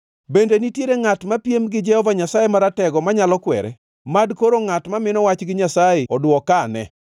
“Bende nitiere ngʼat mapiem gi Jehova Nyasaye Maratego manyalo kwere? Mad koro ngʼat mamino wach gi Nyasaye oduokeane!”